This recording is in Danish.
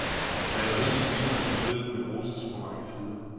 Maleriet ligner en hybrid, men roses fra mange sider.